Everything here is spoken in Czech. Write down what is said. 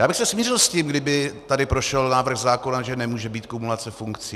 Já bych se smířil s tím, kdyby tady prošel návrh zákona, že nemůže být kumulace funkcí.